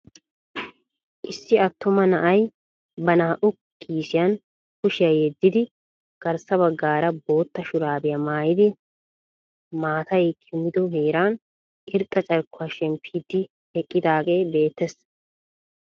Issi attuma na'ay ba naa"u kiisiyaan kushshiyaa yeeddidi garssa baggaara bootta shuraabiyaa maayidi maatay kumido heeran irxxa carkkuwaa shemmppidi eqqidaagee beettees.